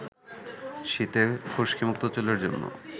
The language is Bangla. শীতে খুশকিমুক্ত চুলের জন্য